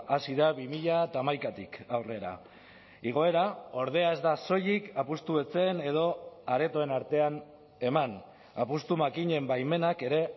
hazi da bi mila hamaikatik aurrera igoera ordea ez da soilik apustu etxeen edo aretoen artean eman apustu makinen baimenak ere